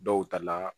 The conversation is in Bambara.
Dɔw ta la